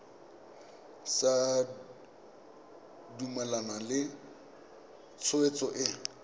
sa dumalane le tshwetso e